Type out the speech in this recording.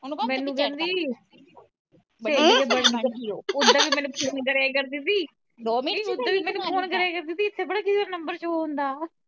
ਮੈਨੂੰ ਕਹਿੰਦੀ ਓਦਾਂ ਮੈਨੂੰ ਫੋਨ ਕਰਿਆ ਕਰਦੀ ਸੀ ਇੱਥੇ ਪਤਾ ਨਹੀਂ ਕੀਦਾ ਨੰਬਰ show ਹੁੰਦਾ।